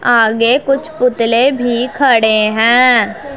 आगे कुछ पुतले भी खड़े हैं।